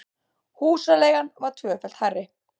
Húsaleigan var tvöfalt hærri